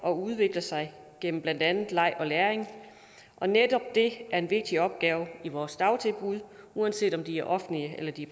og udvikler sig gennem blandt andet leg og læring netop det er en vigtig opgave i vores dagtilbud uanset om de er offentlige eller de